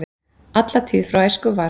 Alla tíð frá æsku var